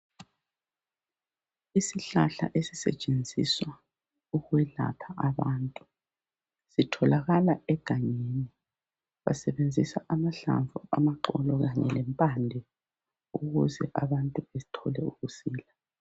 Isihlahla esisetshenziswa ukwelapha abantu, sitholakala egangeni. basebenzisa amahlamvu, amaxolo khanye lemphande ukuze abantu bathole ukusila.